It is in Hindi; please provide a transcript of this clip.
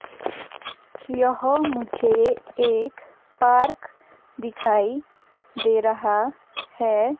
यह मुझे एक पार्क दिखाई दे रहा है.